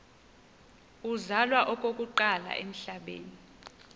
uzalwa okokuqala emhlabeni